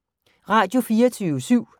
Radio24syv